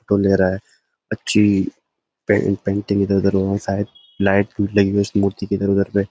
अच्छी पए पेंटिंग इधर-उधर होंगी शायद लाइट लगी हुई है उस मूर्ति के इधर-उधर पे।